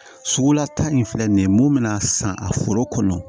Sugula ta in filɛ nin ye mun bɛna san a foro kɔnɔ